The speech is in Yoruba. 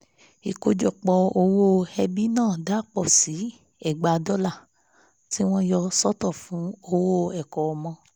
ìkójọpọ̀ owó ẹbí náà dà pọ̀ sí ẹgbàá dọ́là tí wọ́n yà sọ́tọ̀ fún owó ẹ̀kọ́ ọmọ